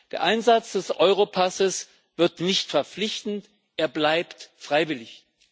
Der Einsatz des Europasses wird nicht verpflichtend, er bleibt freiwillig.